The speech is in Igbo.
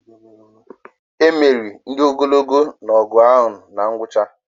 Emeri ndị ogologo na ọgụ ahụ na ngwụcha